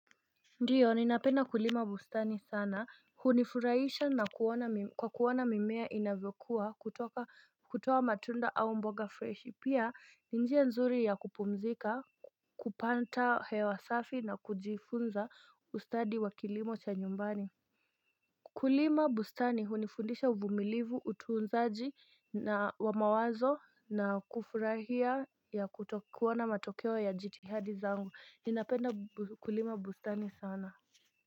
Ndiyo ninapeda kulima bustani sana hunifurahisha na kwa kuwana mimea inavekua kutoka kutowa matunda au mboga fresh pia ninjia nzuri ya kupumzika kupanta hewasafi na kujifunza ustadi wa kilimo cha nyumbani Kulima bustani hunifundisha uvumilivu, utuunzaji na wamawazo na kufurahia ya kutokuwa na matokewa ya jitihadi zangu. Ninapenda kulima bustani sana.